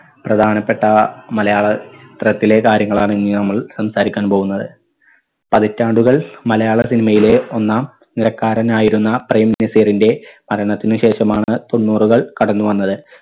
പ്രധാനപ്പെട്ട മലയാള ചിത്രത്തിലെ കാര്യങ്ങളാണ് ഇനി നമ്മള് സംസാരിക്കാൻ പോകുന്നത്. പതിറ്റാണ്ടുകൾ മലയാള cinema യിലെ ഒന്നാം നിരക്കാരനായിരുന്ന പ്രേം നസീറിന്റെ മരണത്തിനു ശേഷമാണ് തൊണ്ണൂറുകൾ കടന്നു വന്നത്.